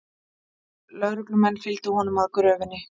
Lögreglumenn fylgdu honum að gröfinni